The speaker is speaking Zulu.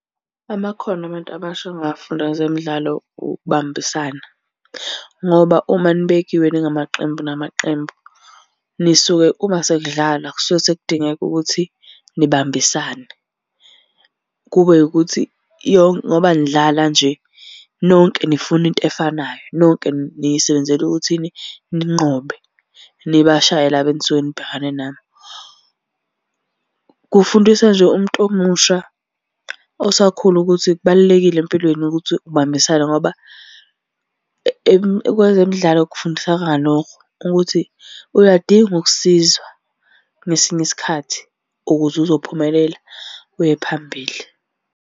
Amakhono abantu abasha abangawafunda kwezemidlalo ukubambisana, ngoba uma nibekiwe ningamaqembu namaqembu, nisuke uma sekudlalwa kusuke sekudingeka ukuthi nibambisane. Kube ukuthi ngoba nidlala nje, nonke nifuna into efanayo, nonke nisebenzela ukuthini, ninqobe nibashaye laba enisuke nibhekane nabo. Kufundisa nje umuntu omusha osakhula ukuthi kubalulekile empilweni ukuthi ubambisane ngoba kwezemidlalo kufundiseka lokho ukuthi uyadinga ukusizwa ngesinye isikhathi ukuze uzophumelela uye phambili.